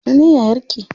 Ya sunan yayar ki?